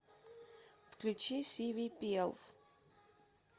включи сивипелв